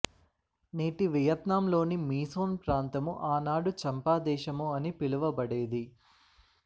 నేటి వియత్నాం లోని మీసోన్ ప్రాంతము ఆనాడు చంపాదేశము అని పిలువబడేది